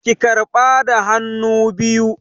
Ki karɓa da hannu biyu!